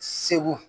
Segu